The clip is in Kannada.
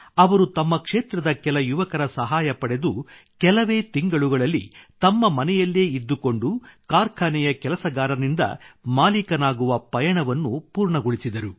ಅವರು ತಮ್ಮ ಕ್ಷೇತ್ರದ ಕೆಲ ಯುವಕರ ಸಹಾಯ ಪಡೆದು ಕೆಲವೇ ತಿಂಗಳುಗಳಲ್ಲಿ ತಮ್ಮ ಮನೆಯಲ್ಲೇ ಇದ್ದುಕೊಂಡು ಕಾರ್ಖಾನೆಯ ಕೆಲಸಗಾರನಿಂದ ಮಾಲೀಕನಾಗುವ ಪಯಣವನ್ನು ಪೂರ್ಣಗೊಳಿಸಿದರು